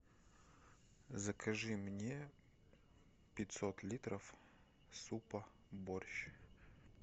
закажи мне пятьсот литров супа борщ